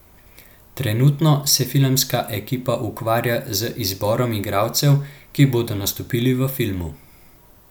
Trenutno se filmska ekipa ukvarja z izborom igralcev, ki bodo nastopili v filmu.